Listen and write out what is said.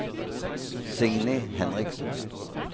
Signy Henriksen